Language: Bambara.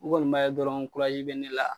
U kɔni b'a ye dɔrɔn be ne la